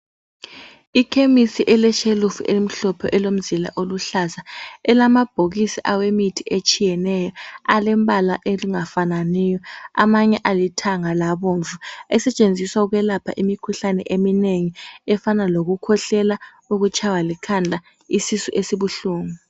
Ikhemisi eleshelufu elimhlophe elomzila oluhlaza elamabhokisi awemithi etshiyeneyo alembala angafananiyo amanye alithanga labomvu, esetshenziswa ukwelapha imikhuhlane eminengi, efana lokukhwehlela, ukutshaywa likhanda, isisu esibuhlungu